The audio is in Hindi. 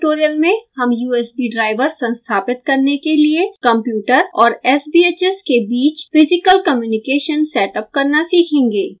इस स्पोकन ट्यूटोरियल में हम usb driver संस्थापित करने के लिए कंप्यूटर और sbhs के बीच फिज़िकल कम्युनिकेशन सेटअप करना सीखेंगे